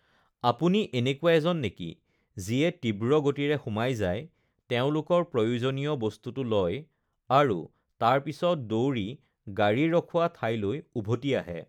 আপুনি এনেকুৱা এজন নেকি যিয়ে তীব্ৰ গতিৰে সোমাই যায়, তেওঁলোকৰ প্ৰয়োজনীয় বস্তুটো লয় আৰু তাৰ পিছত দৌৰি গাড়ী ৰখোৱা ঠাইলৈ উভতি আহে?